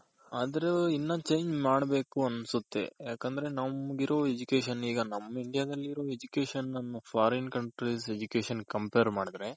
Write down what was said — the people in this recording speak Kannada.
ಆದ್ರು ಇನ್ನ change ಮಾಡ್ಬೇಕು ಅನ್ಸುತ್ತೆ ಯಾಕಂದ್ರೆ ನಮ್ಗಿರೋ Education ಈಗ ನಮ್ India ದಲ್ಲಿರೋ Education Foreign countries Education ಗೆ compare ಮಾಡಿದ್ರೆ.